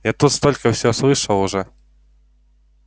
я тут столько всего слышал уже